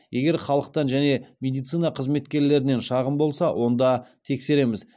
егер халықтан және медицина қызметкерлерінен шағым болса онда тексереміз